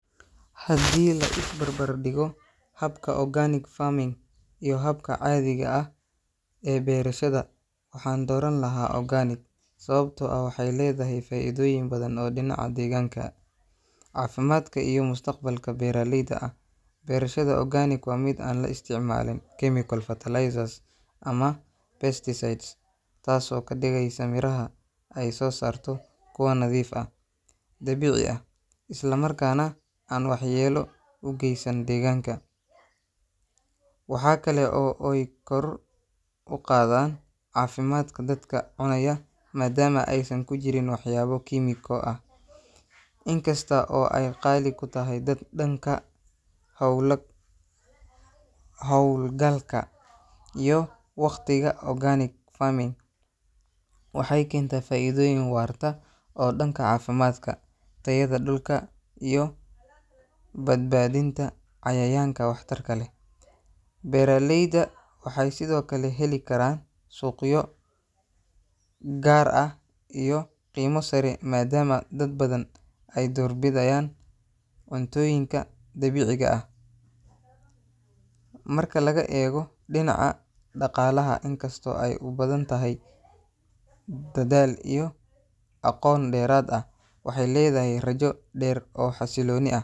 Haddii la is barbar dhigo habka organic farming iyo habka caadiga ah ee beerashada, waxaan dooran lahaa organic sababtoo ah waxay leedahay faa'iidooyin badan oo dhinaca deegaanka, caafimaadka iyo mustaqbalka beeralayda ah. Beerashada organic waa mid aan la isticmaalin chemical fertilizers ama pesticides, taasoo ka dhigaysa miraha ay soo saarto kuwo nadiif ah, dabiici ah, islamarkaana aan waxyeello u geysan deegaanka. Waxa kale oo ay kor u qaaddaa caafimaadka dadka cunaya maadaama aysan ku jirin waxyaabo kiimiko ah. Inkasta oo ay qaali ku tahay da dhanka hawla hawlgalka iyo wakhtiga, organic farming waxay keentaa faa'iido waarta oo dhanka caafimaadka, tayada dhulka iyo badbaadinta cayayaanka waxtarka leh. Beeralayda waxay sidoo kale heli karaan suuqyo gaar ah iyo qiime sare maadaama dad badan ay doorbidayaan cuntooyinka dabiiciga ah. Marka laga eego dhinaca dhaqaalaha, inkastoo ay u baahan tahay dadaal iyo aqoon dheeraad ah, waxay leedahay rajo dheer oo xasilooni ah.